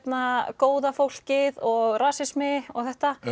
góða fólkið og rasismi og þetta